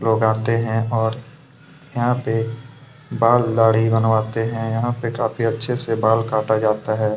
लोग आते हैं और यहाँ पे बाल दहाडी बनाते हैं यहाँ काफी अच्छे से बाल काटा जाता है।